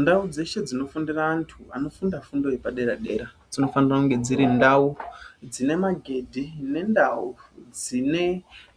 Ndau dzeshe dzinofundira anthu anofunda fundo yepadera dera dzinofanira kunge dziri ndau dzine magedhi nendau dzine